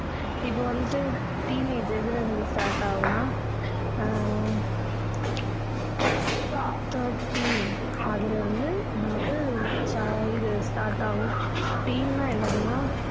இப்போ வந்துட்டு teenage எதுல இருந்து start ஆகும்னா ஆஹ் thirteen அதுல இருந்து வந்து இது start ஆகும் teen னா என்னதுன்னா